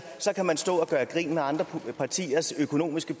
så kan man stå og gøre grin med andre partiers økonomiske